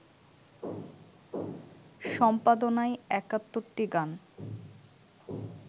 সম্পাদনায় ৭১টি গান